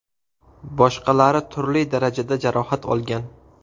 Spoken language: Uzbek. Boshqalari turli darajada jarohat olgan.